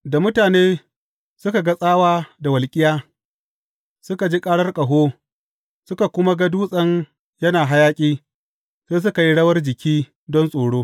Da mutane suka ga tsawa da walƙiya, suka ji karar ƙaho, suka kuma ga dutsen yana hayaƙi, sai suka yi rawar jiki don tsoro.